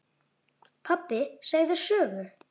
Pabbi segðu sögu.